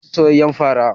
Zamu ci soyayyar fara